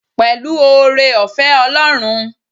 Pẹ̀lú oore-ọ̀fẹ́ Ọlọ́run.